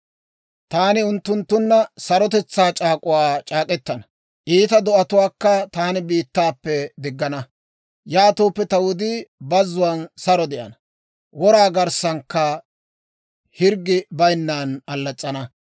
«‹ «Taani unttunttunna sarotetsaa c'aak'uwaa c'aak'k'etana; iita do'atuwaakka taani biittaappe diggana; yaatooppe ta wudii bazzuwaan saro de'ana; wora garssankka hirggi bayinnan allas's'ana.